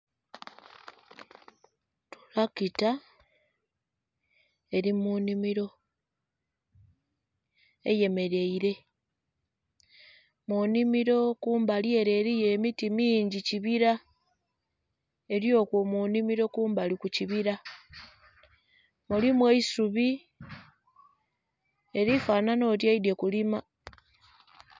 Tulakita eli mu nnhimilo eyemeleile. Mu nnhimilo kumbali ele eliyo emiti mingi kibila. Eli okwo ku nnhimilo kumbali ku kibila. Mulimu eisubi. Eli fanhanha oti eidhye kulima.